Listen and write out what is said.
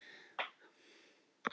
Það sem á fjörur rekur